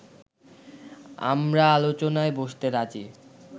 আমরা আলোচনায় বসতে রাজী